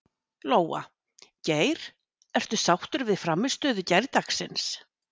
Lóa: Geir, ertu sáttur við frammistöðu gærdagsins?